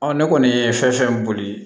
ne kɔni ye fɛn fɛn boli